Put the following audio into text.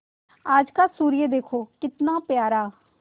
आज का सूर्य देखो कितना प्यारा